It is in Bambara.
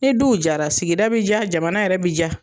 Ni duw jara sigida be ja jamana yɛrɛ be ja.